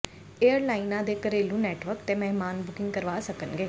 ਏਅਰਲਾਈਨਾਂ ਦੇ ਘਰੇਲੂ ਨੈਟਵਰਕ ਤੇ ਮਹਿਮਾਨ ਬੁਕਿੰਗ ਕਰਵਾ ਸਕਣਗੇ